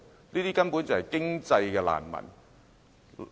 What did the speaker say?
這些根本就是經濟難民。